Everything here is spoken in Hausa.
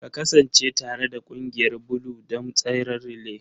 Ka kasance tare da ƙungiyar Blue don tseren relay!